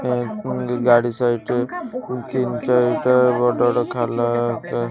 ଗାଡି ସାଇଡ ରେ ତିନଟା ବଡବଡ ଖାଲ ଏଇ --